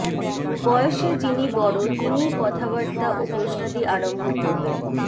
বয়সে যিনি বড় তিনিই কথাবার্তা ও প্রশ্নাদি আরম্ভ করবেন